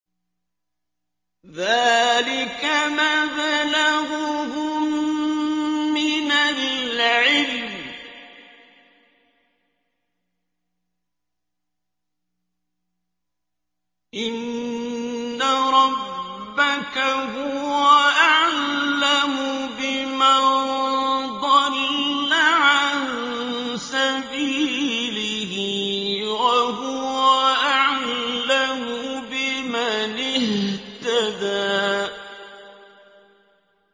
ذَٰلِكَ مَبْلَغُهُم مِّنَ الْعِلْمِ ۚ إِنَّ رَبَّكَ هُوَ أَعْلَمُ بِمَن ضَلَّ عَن سَبِيلِهِ وَهُوَ أَعْلَمُ بِمَنِ اهْتَدَىٰ